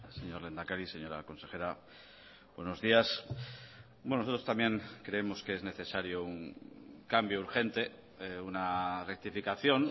señor lehendakari señora consejera buenos días nosotros también creemos que es necesario un cambio urgente una rectificación